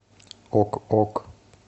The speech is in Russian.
ок ок